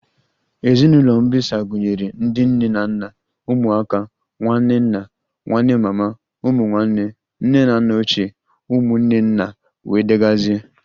Ezinụlọ mbisa gụnyere ndị nne na nna, ụmụaka, nwanne nna, nwanne mama, ụmụ nwanne, nne na nna ochie, ụmụnne nna wdg